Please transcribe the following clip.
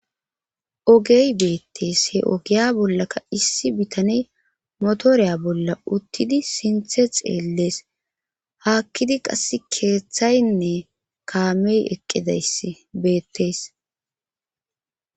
Ogey beettees he ogiya bollaka issi bitane motoreya bolla uttidi sinthe xeellees haakkidi qass keeththaynne kaamey eqqidabeettees.